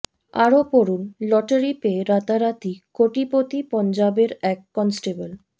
আরও পড়ুন লটারি পেয়ে রাতারাতি কোটিপতি পঞ্জাবের এক কনস্টেবল